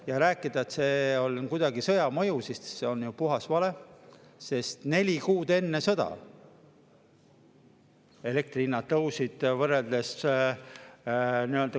Ja rääkida, et see on kuidagi sõja mõju – see on ju puhas vale, sest neli kuud enne sõda elektrihinnad tõusid võrreldes …